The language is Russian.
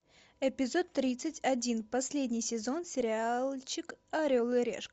эпизод тридцать один последний сезон сериальчик орел и решка